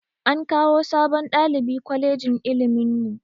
An kawo sabon ɗalibi kwalejin ilimin mu